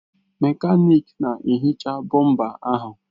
Mekaniki na-ehicha bọmpa ahụ.